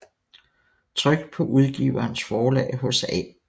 Trykt paa Udgiverens Forlag hos A